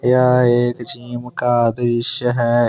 यह एक जिम का दृश्य है।